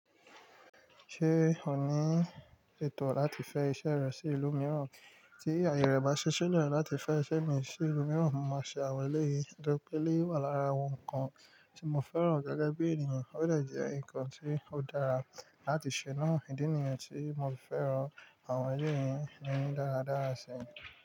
Ṣé ò ní ètò láti fẹ́ iṣẹ́ rẹ sí ìlú mìíràn? Tí àyè rẹ bá ṣí le láti fẹ́ iṣẹ́ mi sí ìlú mìíràn, mo máa ṣe àwọn elé yìí. Nitori pé elé wà lára awon nkan tí mo fẹ́ràn gege bí ènìyàn, ó de je nǹkan tí ó dára láti ṣe náà. Ìdí nìyẹn tí mo fi fẹ́ràn àwọn elé yìí ní dáradára sí e.